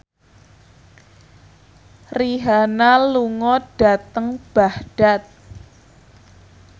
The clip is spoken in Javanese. Rihanna lunga dhateng Baghdad